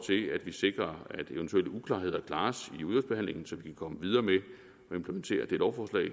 at vi sikrer at eventuelle uklarheder klares i udvalgsbehandlingen så vi kan komme videre med at implementere det lovforslag